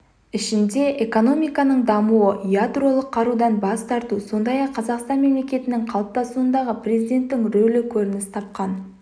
ішінде экономиканың дамуы ядролық қарудан бас тарту сондай-ақ қазақстан мемлекетінің қалыптасуындағы президенттің рөлі көрініс тапқан